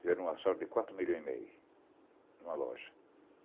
Fizeram um assalto de quatro milhões e meio em uma loja.